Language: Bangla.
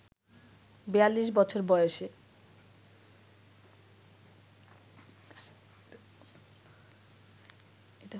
৪২ বছর বয়সে